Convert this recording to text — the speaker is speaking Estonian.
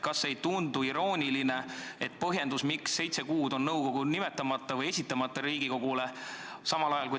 Kas siis ei tundu irooniline see põhjendus, miks seitse kuud on nõukogu koosseis Riigikogule esitamata?